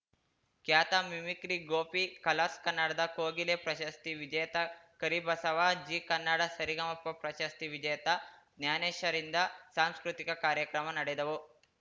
ಖ್ಯಾತ mimicry Gopi Colors ಕನ್ನಡದ ಕೋಗಿಲೆ ಪ್ರಶಸ್ತಿ ವಿಜೇತ ಕರಿಬಸವ ಜೀ ಕನ್ನಡ ಸರಿಗಮಪ ಪ್ರಶಸ್ತಿ ವಿಜೇತ ಜ್ಞಾನೇಶರಿಂದ ಸಾಂಸ್ಕೃತಿಕ ಕಾರ್ಯಕ್ರಮ ನಡೆದವು